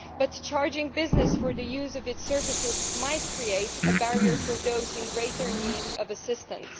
But charging business for the use of its services might create a barrier for those in greater need of assistance.